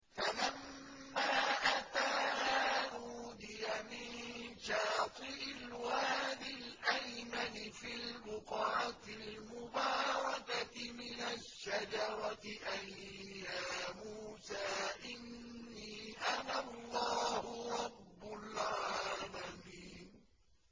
فَلَمَّا أَتَاهَا نُودِيَ مِن شَاطِئِ الْوَادِ الْأَيْمَنِ فِي الْبُقْعَةِ الْمُبَارَكَةِ مِنَ الشَّجَرَةِ أَن يَا مُوسَىٰ إِنِّي أَنَا اللَّهُ رَبُّ الْعَالَمِينَ